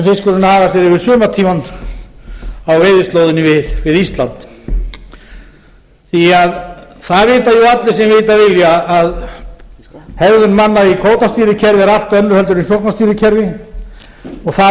fiskurinn hagar sér yfir sumartímann á veiðislóðinni við ísland því að það vita allir sem vita vilja að hegðun manna í kvótastýrðu kerfi er allt önnur heldur en í sóknarstýrðu kerfi og það